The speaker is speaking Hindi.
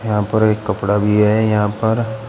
यहां पर एक कपड़ा भी है यहां पर--